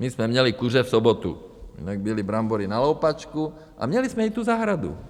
My jsme měli kuře v sobotu, jinak byly brambory na loupačku a měli jsme i tu zahradu.